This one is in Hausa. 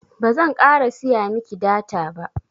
bazan ƙara siya miki data ba